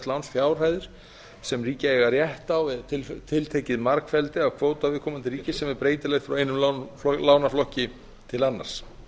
lánsfjárhæðir sem ríki eiga rétt á eða tiltekið margfeldi af kvóta ríkja viðkomandi ríkis sem er breytilegt frá einum lánaflokki til annars